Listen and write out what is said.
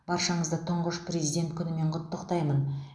баршаңызды тұңғыш президент күнімен құттықтаимын